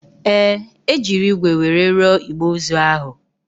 Ee, e jiri ígwè were rụọ igbe ozu ahụ